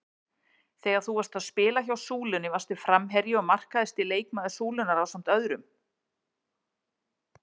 Þegar þú varst að spila hjá Súlunni varstu framherji og markahæsti leikmaður Súlunnar ásamt öðrum?